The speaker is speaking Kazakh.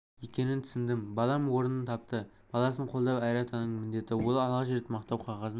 екенін түсіндім балам орнын тапты баласын қолдау әр ата-ананың міндеті ол алғаш рет мақтау қағазын